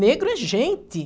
Negro é gente.